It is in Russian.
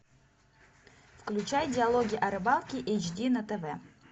включай диалоги о рыбалке эйч ди на тв